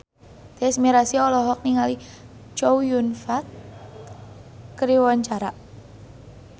Tyas Mirasih olohok ningali Chow Yun Fat keur diwawancara